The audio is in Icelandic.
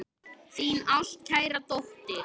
Þín ástkæra dóttir.